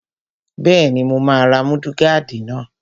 Bẹ́ẹ̀ni, mo máa ra múdúgáàdì tuntun